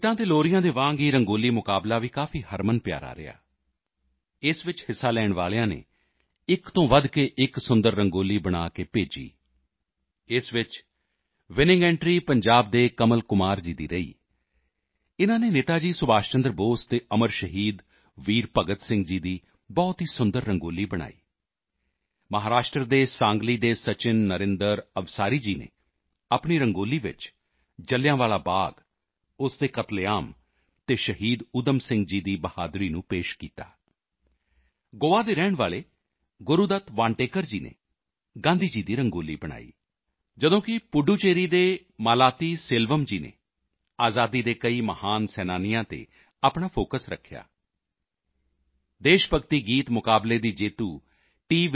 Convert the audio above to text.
ਗੀਤਾਂ ਅਤੇ ਲੋਰੀਆਂ ਦੇ ਵਾਂਗ ਹੀ ਰੰਗੋਲੀ ਮੁਕਾਬਲਾ ਵੀ ਕਾਫੀ ਹਰਮਨਪਿਆਰਾ ਰਿਹਾ ਇਸ ਵਿੱਚ ਹਿੱਸਾ ਲੈਣ ਵਾਲਿਆਂ ਨੇ ਇੱਕ ਤੋਂ ਵਧ ਕੇ ਇੱਕ ਸੁੰਦਰ ਰੰਗੋਲੀ ਬਣਾ ਕੇ ਭੇਜੀ ਇਸ ਵਿੱਚ ਵਿਨਿੰਗ ਐਂਟਰੀ ਪੰਜਾਬ ਦੇ ਕਮਲ ਕੁਮਾਰ ਜੀ ਦੀ ਰਹੀ ਇਨ੍ਹਾਂ ਨੇ ਨੇਤਾ ਜੀ ਸੁਭਾਸ਼ ਚੰਦਰ ਬੋਸ ਅਤੇ ਅਮਰ ਸ਼ਹੀਦ ਵੀਰ ਭਗਤ ਸਿੰਘ ਜੀ ਦੀ ਬਹੁਤ ਹੀ ਸੁੰਦਰ ਰੰਗੋਲੀ ਬਣਾਈ ਮਹਾਰਾਸ਼ਟਰ ਦੇ ਸਾਂਗਲੀ ਦੇ ਸਚਿਨ ਨਰੇਂਦਰ ਅਵਸਾਰੀ ਜੀ ਨੇ ਆਪਣੀ ਰੰਗੋਲੀ ਵਿੱਚ ਜ਼ਿਲ੍ਹਿਆਂ ਵਾਲਾ ਬਾਗ਼ ਉਸ ਦੇ ਕਤਲੇਆਮ ਅਤੇ ਸ਼ਹੀਦ ਊਧਮ ਸਿੰਘ ਜੀ ਦੀ ਬਹਾਦਰੀ ਨੂੰ ਪੇਸ਼ ਕੀਤਾ ਗੋਆ ਦੇ ਰਹਿਣ ਵਾਲੇ ਗੁਰੂ ਦੱਤ ਵਾਂਟੇਕਰ ਜੀ ਨੇ ਗਾਂਧੀ ਜੀ ਦੀ ਰੰਗੋਲੀ ਬਣਾਈ ਜਦੋਂ ਕਿ ਪੁੱਡੂਚੇਰੀ ਦੇ ਮਾਲਾਤੀਸੇਲਵਮ ਜੀ ਨੇ ਆਜ਼ਾਦੀ ਦੇ ਕਈ ਮਹਾਨ ਸੈਨਾਨੀਆਂ ਤੇ ਆਪਣਾ ਫੋਕਸ ਰੱਖਿਆ ਦੇਸ਼ ਭਗਤੀ ਗੀਤ ਮੁਕਾਬਲੇ ਦੀ ਜੇਤੂ ਟੀ